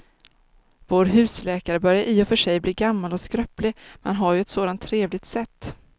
Vår husläkare börjar i och för sig bli gammal och skröplig, men han har ju ett sådant trevligt sätt!